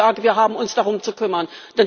Aber ich sage, wir haben uns darum zu kümmern.